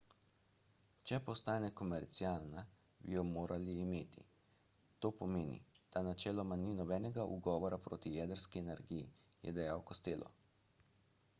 če postane komercialna bi jo morali imeti to pomeni da načeloma ni nobenega ugovora proti jedrski energiji je dejal costello